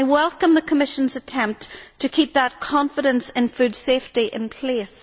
I welcome the Commission's attempt to keep that confidence in food safety in place.